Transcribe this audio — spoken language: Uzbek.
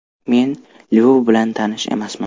Men Lyov bilan tanish emasman.